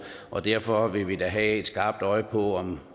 og derfor vil vi da have et skarpt øje på